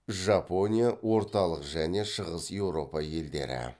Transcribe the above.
жапония орталық және шығыс еуропа елдері